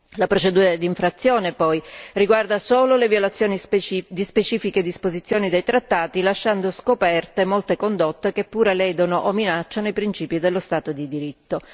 La procedura d'infrazione, poi, riguarda solo le violazioni di specifiche disposizioni dei trattati lasciando scoperte molte condotte che pure ledono o minacciano i principi dello Stato di diritto.